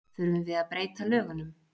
Þurfum við að breyta lögunum?